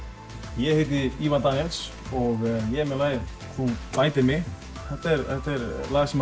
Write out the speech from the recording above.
ég heiti Ívar Daníels og ég er með lagið þú bætir mig þetta er lag sem